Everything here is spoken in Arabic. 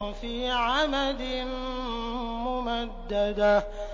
فِي عَمَدٍ مُّمَدَّدَةٍ